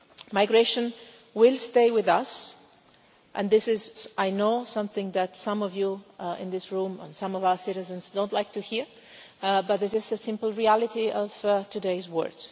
Migration will stay with us, and this is I know something that some of you in this room, and some of our citizens, do not like to hear, but this is a simple reality of today's world.